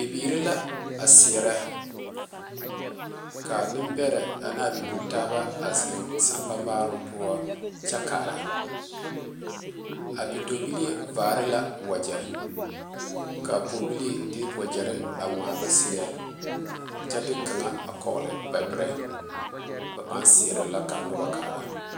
Bibiiri la a seɛrɛ kaa nenbɛre ane a bibile taaba zeŋ sanpa marroŋ poɔ kyɛ kaara a bidɔɔlee vari la wage kaa pɔge bilee de wagere a ŋmaa ba seɛ kyɛ de kaŋa a kɔgle ba bɛre ba paa seɛrɛ la kaa noba a kaara.